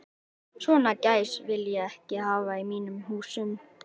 Svona gæs vil ég ekki hafa í mínum húsum.